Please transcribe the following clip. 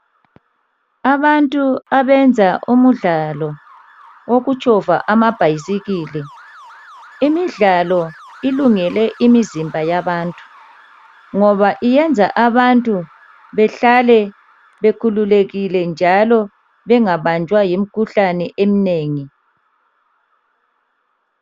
Abantu abenza umdlalo wokutshova amabhayisikili. Imidlalo ilungele imizimba yabantu ngoba yenza abantu bahlale bekhululekile njalo bengabanjwa yimikhuhlane eminengi.